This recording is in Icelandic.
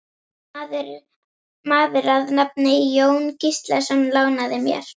Maður að nafni Jón Gíslason lánaði mér.